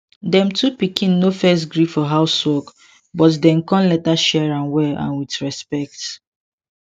dem two pikin no first gree for house work but dem come later share am well and with respect